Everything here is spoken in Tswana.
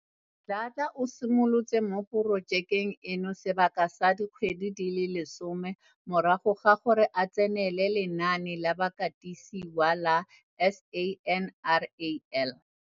Dladla o simolotse mo porojekeng eno sebaka sa dikgwedi di le 10 morago ga gore a tsenele lenaane la bakatisiwa la SANRAL.